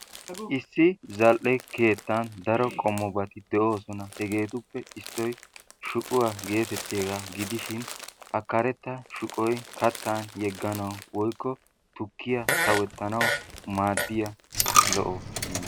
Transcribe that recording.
Issi zal"e keettan daro qommobat de'oosona. Hegeetuppe issoy shuquwa geetettiyagaa gidishin ha karetta shuqoy kattan yegganawu woykko tukkiya sawettanawu maaddiya lo"o ....